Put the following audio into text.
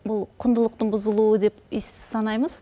бұл құндылықтың бұзылуы деп санаймыз